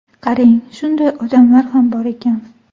Qarang, shunday odamlar ham bor ekan.